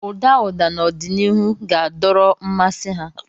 Ụda ụda n'ọdịnihu ga-adọrọ mmasị ha.